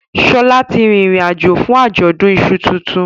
Shola tí rí ìrìn àjò fún Ajọdun iṣu títún